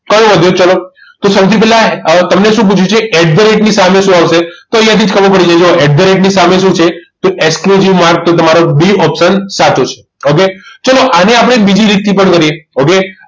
કયો વધ્યો છે ચલો તો સૌથી પહેલા તમને શું પૂછ્યું છે at the rate ની સામે શું આવશે તો અહીંયાથી જ ખબર પડી જાય જુઓ at the rate ની સામે શું છે તો exclusive mark કે તે તમારો બે option સાચો છે okay ચાલો આને આપણે બીજી રીતે પણ કરીએ okay